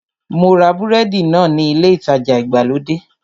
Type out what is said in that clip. Mo ra búrẹ́dì náà ní ilé ìtajà ìgbàlódé